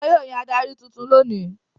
Wọn yóò yan adarí tuntun lónìí.